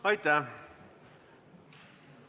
Aitäh!